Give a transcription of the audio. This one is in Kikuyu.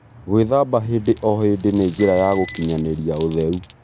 Gwĩthamba hĩndĩ o hĩndĩ nĩ njĩra ya gũkinyanĩria ũtheru